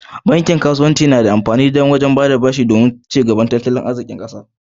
Bankin kasuwanci na da amfani wajen baɗa ɓashi don ci gabar tattalin arziki.